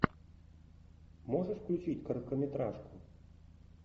можешь включить короткометражку